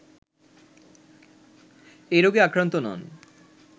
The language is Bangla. এ রোগে আক্রান্ত নন